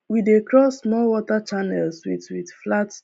we dey cross small water channels with with flat